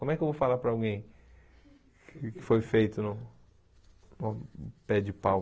Como é que eu vou falar para alguém que foi feito no no pé de pau?